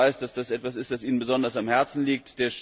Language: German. Ich weiß, dass das etwas ist, was ihm besonders am Herzen liegt.